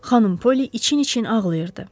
Xanım Poli için-için ağlayırdı.